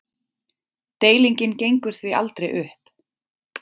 Deilingin gengur því aldrei upp.